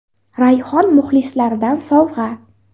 Rayhon muxlislaridan sovg‘a.